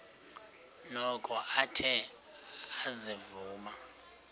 noko athe ezivuma